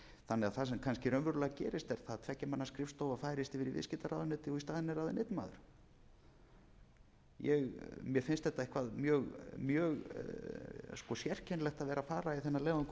það það sem kannski raunverulega gerist er það að tveggja manna skrifstofa færist yfir í viðskiptaráðuneytið og í staðinn er ráðinn einn maður mér finnst þetta eitthvað mjög sérkennilegt að vera að fara í þennan leiðangur